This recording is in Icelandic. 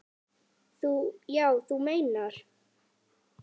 Já, þú meinar.